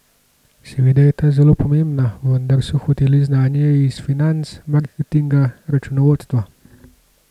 Seveda je ta zelo pomembna, vendar so hoteli znanje iz financ, marketinga, računovodstva.